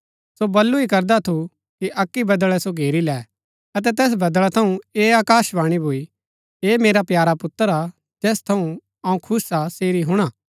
सो बल्लू ही करदा थु कि अक्की बदळै सो घेरी लै अतै तैस बदळा थऊँ ऐह आकाशवाणी भूई ऐह मेरा प्यारा पुत्र हा जैस थऊँ अऊँ खुश हा सेरी हुणा